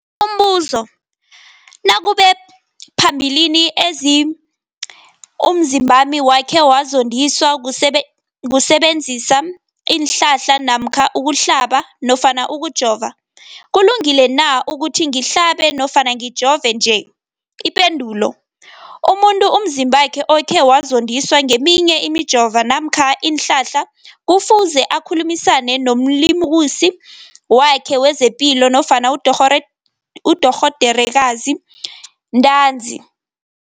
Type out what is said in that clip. Umbuzo, nakube phambilini umzimbami wakhe wazondiswa kusebenzisa isihlahla namkha ukuhlaba nofana ukujova, kulungile na ukuthi ngihlabe nofana ngijove nje? Ipendulo, umuntu umzimbakhe okhe wazondiswa ngeminye imijovo namkha iinhlahla kufuze akhulumisane nomlimukisi wakhe wezepilo nofana nodorhoderakhe ntanzi.